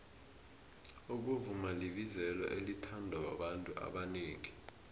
ukuvuma libizelo elithandwa babantu abanengi